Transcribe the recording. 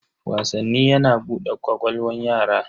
Wasanni yana bude ƙwaƙwalwan yara.